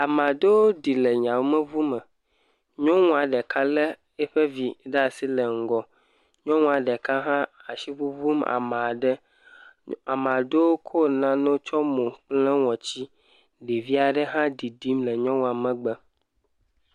Ame aɖewo ɖi le yameŋume. Nyɔnu aɖe lé eƒe vi ɖe asi le ŋgɔ. Nyɔnua ɖeka hã ashi ŋuŋum amaa ɖe. amaa ɖewo kɔ nane tsyɔ mo lé ŋɔtsi. Ɖevi aɖe hã ɖiɖim le nyɔnua megbe.